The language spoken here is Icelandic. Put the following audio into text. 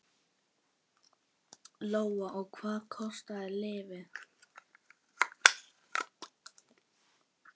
Lóa: Og hvað kostar lyfið?